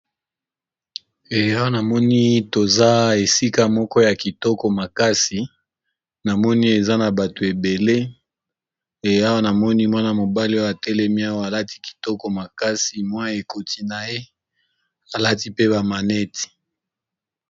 Awa namoni toza esika moko ya kitoko makasi, pe tomoni ndeko mobali moko alati kitoko makasi